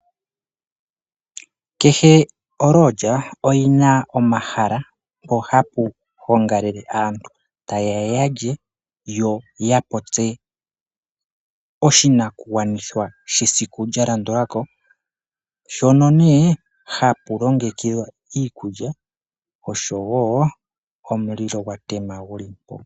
Kehe oLodge oyina omahala mpo hapu gongalele aantu ta ye ya yalye yo ya kundathane oshinakugwanithwa sheikh lya landulako. Ohapu longekidhwa iikulya osho wo omulilo gwa tema.